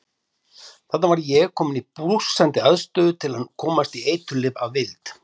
Þarna var ég kominn í blússandi aðstöðu til að komast í eiturlyf að vild.